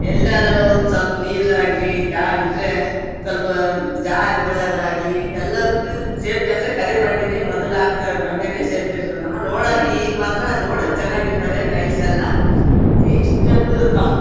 ಎಲ್ಲಾದ್ರೂ ಒಂದ್ ಸ್ವಲ್ಪ ನೀರ್ ಆಗ್ಲಿ ತೇವ ಇದ್ರೆ ಸ್ವಲ್ಪ ಜಾರಿ ಬಿಳೋದಾಗಲಿ ಎಲ್ಲದಕ್ಕೂ ಸೇಫ್ಟಿ ಅಂದ್ರೇನೆ ಕರಿ ಬಂಡೆನೇ ಮೊದ್ಲಹಾಕಸೋ ಬಂಡೇನೇ ಸೇಫ್ಟಿ ಇರುತ್ತ ಅಮ್ಮ ನೋಡಕ್ಕ ಈಗ ಮಾತ್ರ ನೋಡಕ್ಕೆ ಚನ್ನಾಗಿರತ್ತವೆ ಟೈಲ್ಸ್ ಎಲ್ಲಾ ಇಷ್ಟೊಂದು ತಂಪ.